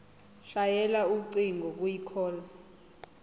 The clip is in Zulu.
shayela ucingo kwicall